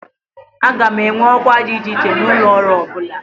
A ga-enwe ọkwa dị iche iche n'ụlọ ọrụ ọ bụla